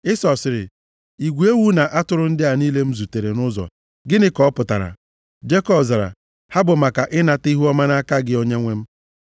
Ịsọ sịrị, “Igwe ewu na atụrụ ndị a niile m zutere nʼụzọ, gịnị ka ọ pụtara?” Jekọb zara, “Ha bụ maka ịnata ihuọma nʼaka gị, onyenwe m.”